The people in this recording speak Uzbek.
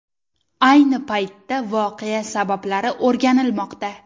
Ayni paytda voqea sabablari o‘rganilmoqda.